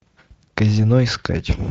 казино искать